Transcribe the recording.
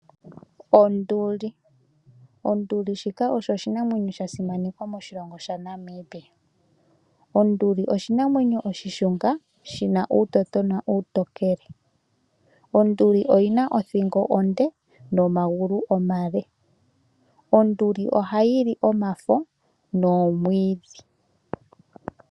Onduli, onduli shika osho oshinamwenyo sha simanekwa moshilongo shaNamibia. Onduli oshinamwenyo oshishunga, shina uutototona uutokele. Onduli oyina othingo onde, nomagulu omale. Onduli ohayi li omafo nomwiidhi.